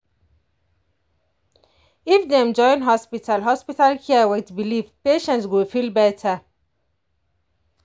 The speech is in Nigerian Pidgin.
if dem join hospital hospital care with belief patients go feel better.